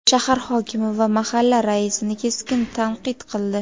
shahar hokimi va mahalla raisini keskin tanqid qildi.